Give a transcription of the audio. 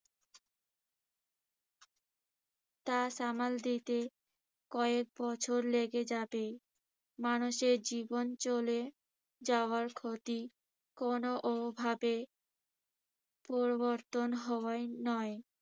তা সামাল দিতে কয়েক বছর লেগে যাবে। মানুষের জীবন চলে যাবার ক্ষতি কোনভাবে পরিবর্তন হবার নয়।